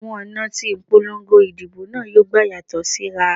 Àwọn ọ̀nà tí ìpolongo ìdìbò náà yóò gbà yàtọ̀ síra